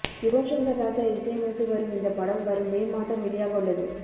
யுவன்ஷங்கர் ராஜா இசையமைத்து வரும் இந்த படம் வரும் மே மாதம் வெளியாகவுள்ளது